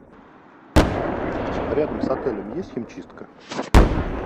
рядом с отелем есть химчистка